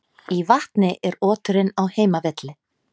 Í vatni er oturinn á heimavelli.